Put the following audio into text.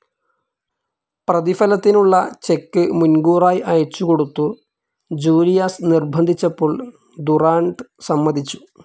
പ്രതിഫലത്തിനുള്ള cheque മുൻകൂറായി അയച്ചുകൊടുത്തു Julius നിർബന്ധിച്ചപ്പോൾ ദുറാൻഡ് സമ്മതിച്ചു.